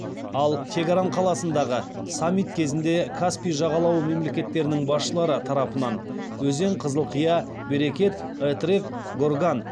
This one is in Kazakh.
ал тегеран қаласындағы саммит кезінде каспий жағалауы мемлекеттерінің басшылары тарапынан өзен қызылқия берекет этрек горган